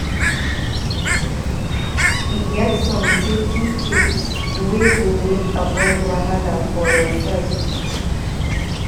E get some safety tips wey go make avoid wahala for your side.